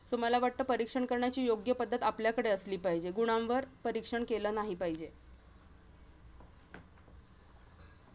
So मला वाटतं परीक्षण करण्याची योग्य पद्धत आपल्याकडे असली पाहिजे. गुणांवर परीक्षण केलं नाही पाहिजे.